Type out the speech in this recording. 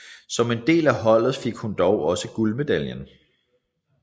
Som en del af holdet fik hun dog også guldmedaljen